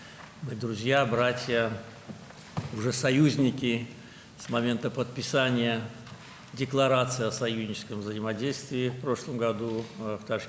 Biz dostuq, qardaşıq, keçən il Daşkənddə müttəfiqlik qarşılıqlı fəaliyyəti haqqında bəyannamənin imzalandığı andan etibarən artıq müttəfiqik.